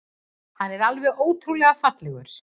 Hann er alveg ótrúlega fallegur.